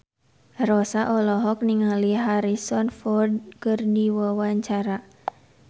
Rossa olohok ningali Harrison Ford keur diwawancara